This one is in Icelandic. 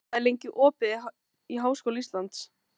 Ella, hvað er opið lengi í Háskóla Íslands?